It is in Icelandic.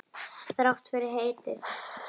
Þrátt fyrir heitið.